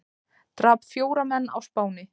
Drap fjóra menn á Spáni